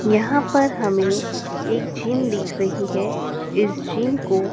यहाँ पर हमें एक जिम दिख रही है इस जिम को --